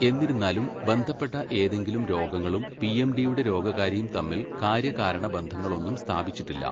എന്നിരുന്നാലും, ബന്ധപ്പെട്ട ഏതെങ്കിലും രോഗങ്ങളും പിഎംഡിയുടെ രോഗകാരിയും തമ്മിൽ കാര്യകാരണ ബന്ധങ്ങളൊന്നും സ്ഥാപിച്ചിട്ടില്ല.